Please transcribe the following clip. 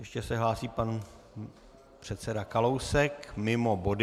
Ještě se hlásí pan předseda Kalousek mimo body.